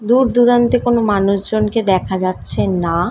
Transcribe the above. দূর দূরান্তে কোনো মানুষজনকে দেখা যাচ্ছে না ।